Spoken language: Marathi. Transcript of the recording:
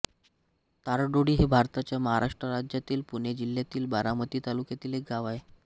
तारडोळी हे भारताच्या महाराष्ट्र राज्यातील पुणे जिल्ह्यातील बारामती तालुक्यातील एक गाव आहे